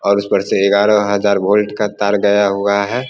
और उसपर से एगारह हज़ार भोल्ट का तार गया हुआ है।